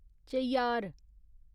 Cheyyar